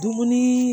Dumuni